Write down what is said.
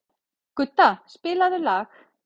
Gudda, spilaðu lag.